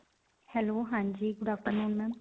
hello ਹਾਂਜੀ good afternoon, ma'am.